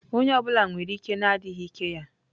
Onye ọ bụla nwere ike na adịghị ike ya.